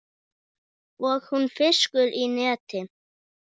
Og hún fiskur í neti.